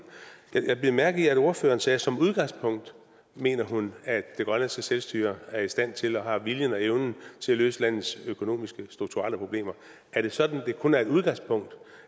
jeg bed mærke i at ordføreren sagde at som udgangspunkt mener hun at det grønlandske selvstyre er i stand til og har viljen og evnen til at løse landets økonomiske strukturelle problemer er det sådan at det kun er et udgangspunkt